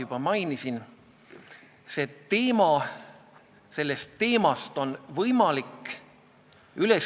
Ilmar Tomusk kinnitas, et nad vaatavad iga juhtumit eraldi ja kui on tegemist väikese ettevõttega, ei pingutata üle.